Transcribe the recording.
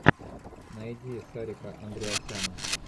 найди сарика андреасяна